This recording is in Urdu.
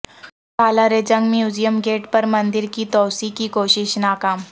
سالارجنگ میوزیم گیٹ پر مندر کی توسیع کی کوشش ناکام